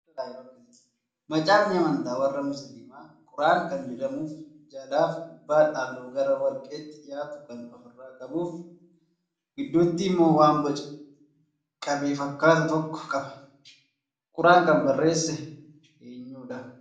Macaafni amantaa warra musliimaa quraan kan jedhamuu fi jalaa fi gubbaan halluu gara warqeetti dhiyaatu kan ofirraa qabuu fi gidduutti immoo waan boca qabee fakkaatu tokko qaba. Quraan kan barreesse eenyudhaa?